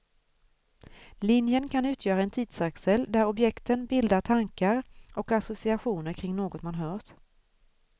Linjen kan utgöra en tidsaxel där objekten bildar tankar och associationer kring något man hört.